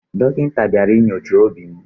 Dọkịta bịara inyocha obi m.